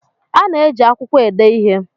A na-eji akwụkwọ ede ihe.